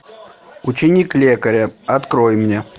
ученик лекаря открой мне